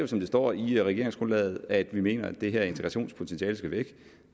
som det står i regeringsgrundlaget at vi mener at det her integrationspotentiale skal væk